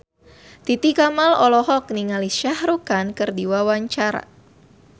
Titi Kamal olohok ningali Shah Rukh Khan keur diwawancara